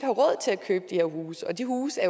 købe de her huse og de huse